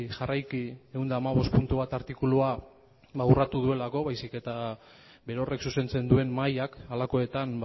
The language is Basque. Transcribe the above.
jarraiki ehun eta hamabost puntu bat artikulua urratu duelako baizik eta berorrek zuzentzen duen mahaiak halakoetan